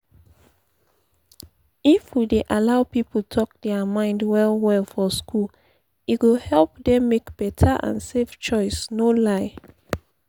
if we dey allow people talk their mind well-well for school e go help dem make beta and safe choice no lie